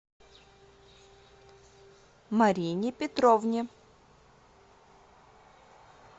марине петровне